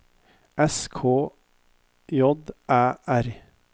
S K J Æ R